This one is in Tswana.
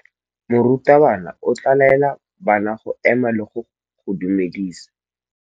Morutabana o tla laela bana go ema le go go dumedisa.